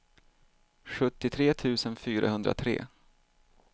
sjuttiotre tusen fyrahundratre